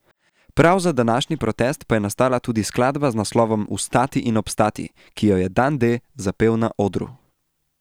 Prav za današnji protest pa je nastala tudi skladba z naslovom Vstati in obstati, ki jo je Dan D zapel na odru.